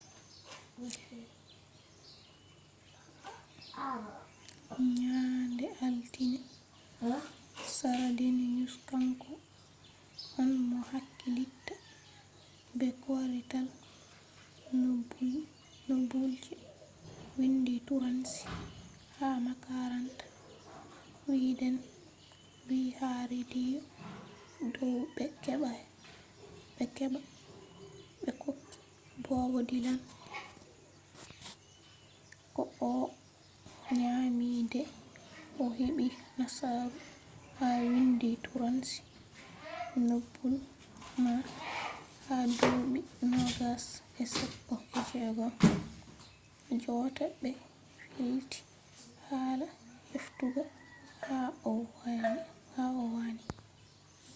nyande altin sra deniyus. kanko on mo hakkilitta be kwarital nobul je windi turanci ha makaranta swiden wi ha rediyo dow ɓe heɓai ɓe hokki bob dilan ko o nyami de o heɓi nasaru ha windi turanci nobul man ha duuɓi 2016 jotta ɓe filti hala heftugo ha o wani